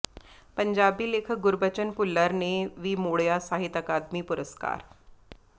ਪੰਜਾਬੀ ਲੇਖਕ ਗੁਰਬਚਨ ਭੁੱਲਰ ਨੇ ਵੀ ਮੋਡ਼ਿਆ ਸਾਹਿਤ ਅਕਾਦਮੀ ਪੁਰਸਕਾਰ